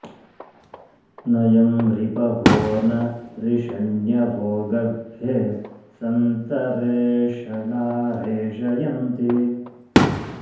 न यं रि॒पवो॒ न रि॑ष॒ण्यवो॒ गर्भे॒ सन्तं॑ रेष॒णा रे॒षय॑न्ति